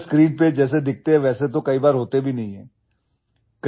actor screen पर जैसे दिखते हैं वैसे तो कई बार होतेभी नहीं हैं